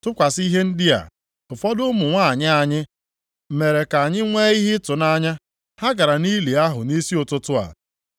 Tụkwasị ihe ndị a, ụfọdụ ụmụ nwanyị anyị mere ka anyị nwee ihe ịtụnanya. Ha gara nʼili ahụ nʼisi ụtụtụ a.